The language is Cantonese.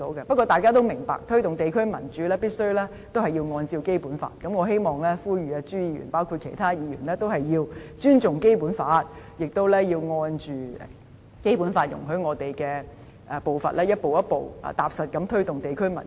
不過，大家也明白，推動地區民主必須按照《基本法》而行，因此我呼籲朱議員，以及其他議員，要尊重《基本法》，並按照《基本法》容許我們的步伐，逐步踏實地推動地區民主。